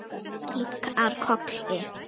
Kinkar kolli.